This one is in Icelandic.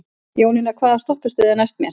Jónína, hvaða stoppistöð er næst mér?